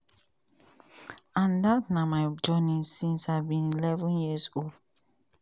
and dat na my journey since i be11 years old.